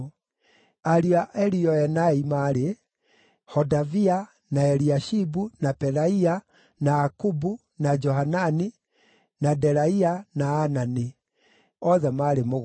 Ariũ a Elioenai maarĩ: Hodavia, na Eliashibu, na Pelaia, na Akubu, na Johanani, na Delaia, na Anani; othe maarĩ mũgwanja.